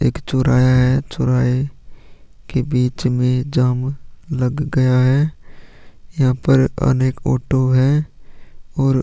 एक चोर आया है चोर आया है के बिच में जाम लग गया है यहाँ पर अनेक ऑटो है और --